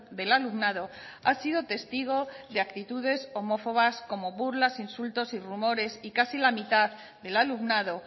del alumnado ha sido testigo de actitudes homófobas como burlas insultos y rumores y casi la mitad del alumnado